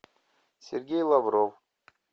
сергей лавров